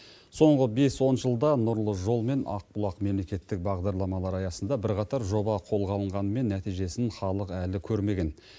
соңғы бес он жылда нұрлы жол мен ақбұлақ мемлекеттік бағдарламалары аясында бірқатар жоба қолға алынғанымен нәтижесін халық әлі көрмеген